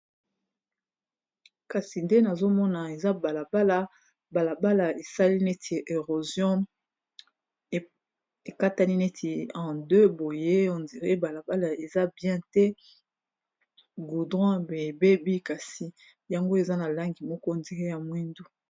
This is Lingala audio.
kasi nde nazomona eza balabala balabala esali neti erosion ekatani neti an2 boye hondire balabala eza bien te goudron ebebi kasi yango eza na langi moko ondire ya mwindu